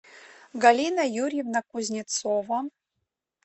галина юрьевна кузнецова